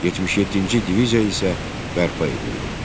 77-ci diviziya isə bərpa edildi.